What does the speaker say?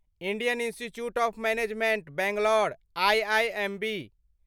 Indian Institute of Management Bangalore IIMB